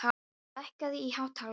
Matthildur, lækkaðu í hátalaranum.